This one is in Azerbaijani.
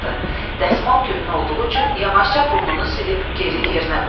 Dəsmal köhnə olduğu üçün yavaşca burnunu silib geri yerinə qoydu.